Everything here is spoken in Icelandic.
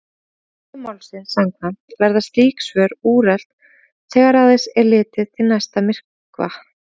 Eðli málsins samkvæmt verða slík svör úrelt þegar aðeins er litið til næsta myrkva.